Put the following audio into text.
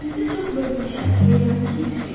Sizdə çox möhtəşəm, heyranedici bir şey var.